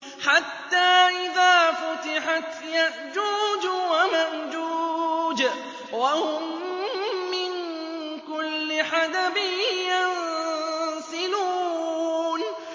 حَتَّىٰ إِذَا فُتِحَتْ يَأْجُوجُ وَمَأْجُوجُ وَهُم مِّن كُلِّ حَدَبٍ يَنسِلُونَ